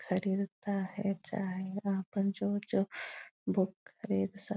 खरीदता है चाहे वहाँ पर जो जो बुक खरीद सक --